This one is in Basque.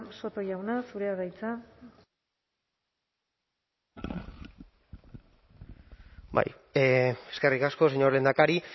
soto jauna zurea da hitza bai eskerrik asko señor lehendakari